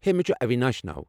ہے، مےٚ چُھ اویناش ناو۔